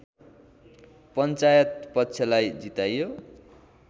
पञ्चायत पक्षलाई जिताइयो